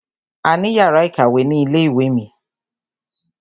A ní yàrá ìkàwé ni ilé ìwé mi.